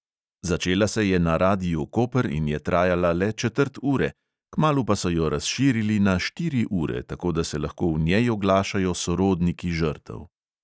Začela se je na radiu koper in je trajala le četrt ure, kmalu pa so jo razširili na štiri ure, tako da se lahko v njej oglašajo sorodniki žrtev.